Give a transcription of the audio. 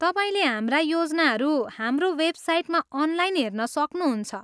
तपाईँले हाम्रा योजनाहरू हाम्रो वेबसाइटमा अनलाइन हेर्न सक्नुहुन्छ।